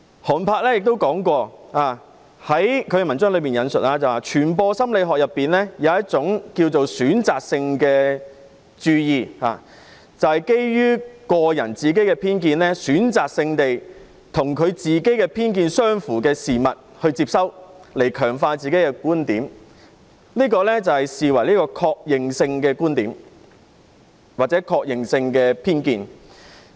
寒柏的文章亦提到，傳播心理學論及一種選擇性注意，指人們會選擇性地接收與自己偏見相符的事物，以強化自己的觀點，即是確認觀點或偏見。